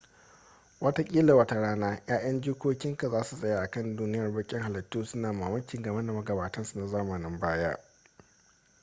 wataƙila wata rana 'ya'yan jikokinka za su tsaya a kan duniyar baƙin halittu suna mamaki game da magabatansu na zamanin baya